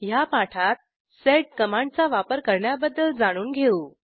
ह्या पाठात सेड कमांडचा वापर करण्याबद्दल जाणून घेऊ